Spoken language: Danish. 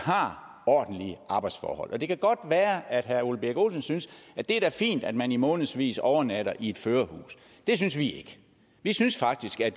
har ordentlige arbejdsforhold det kan godt være at herre ole birk olesen synes det er fint at man i månedsvis overnatter i et førerhus det synes vi ikke vi synes faktisk at